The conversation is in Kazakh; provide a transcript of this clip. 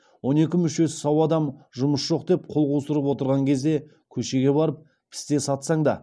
он екі мүшесі сау адам жұмыс жоқ деп қол қусырып отырған кезде көшеге барып пісте сатсаң да